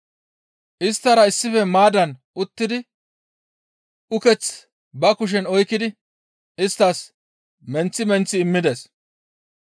Isttara issife maaddan uttidi uketh ba kushen oykkidi isttas menththi menththi immides.